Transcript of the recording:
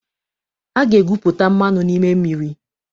A ga-egwupụta mmanụ n'ime mmiri.